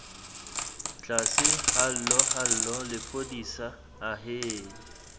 tlase hallo hallo lephodisa ahee